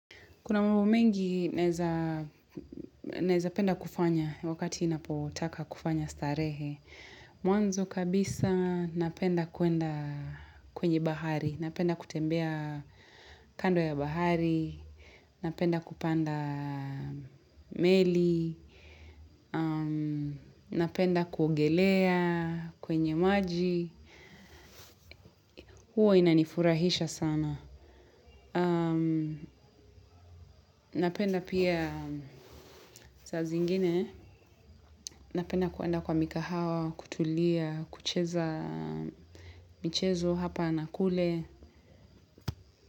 Kuna mambo mengi naezapenda kufanya wakati ninapotaka kufanya starehe. Mwanzo kabisa napenda kuenda kwenye bahari. Napenda kutembea kando ya bahari. Napenda kupanda meli. Napenda kuogelea kwenye maji. Huwa inanifurahisha sana. Napenda pia saa zingine. Napenda kuenda kwa mikahawa, kutulia, kucheza michezo, hapa na kule.